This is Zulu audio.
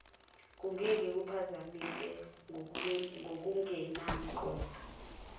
kungeke kuphazamise ngokungenangqondo